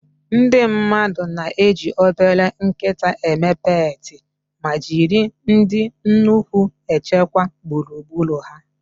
Ndị mmadụ na-eji obele nkịta eme peetị, ma jiri ndị nnukwu echekwa gburugburu ha